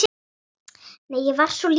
Nei, ég var svo lítil.